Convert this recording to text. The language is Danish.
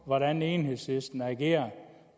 hvordan enhedslisten agerer